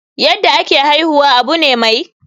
yadda ake haihuwa Abu ne mai.